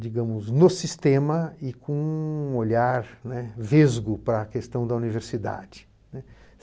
digamos, no sistema e com um olhar, né, vesgo para a questão da universidade, né.